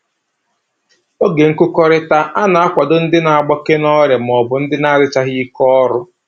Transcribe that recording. Oge nkụkọrịta a na-akwado ndị na-agbake n'ọrịa maọbụ ndị adịchaghị ike ọrụ